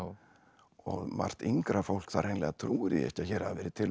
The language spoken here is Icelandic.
og margt yngra fólk það hreinlega trúir því ekki að hér hafi verið til